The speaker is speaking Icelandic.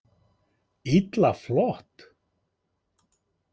Illa flott!